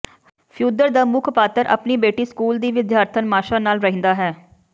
Fyodor ਦਾ ਮੁੱਖ ਪਾਤਰ ਆਪਣੀ ਬੇਟੀ ਸਕੂਲ ਦੀ ਵਿਦਿਆਰਥਣ ਮਾਸ਼ਾ ਨਾਲ ਰਹਿੰਦਾ ਹੈ